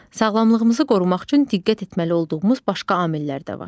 Sağlamlığımızı qorumaq üçün diqqət etməli olduğumuz başqa amillər də var.